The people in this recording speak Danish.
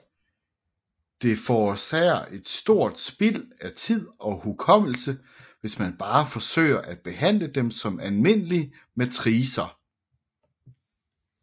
Det forårsager et stort spild af tid og hukommelse hvis man bare forsøger at behandle dem som almindelige matricer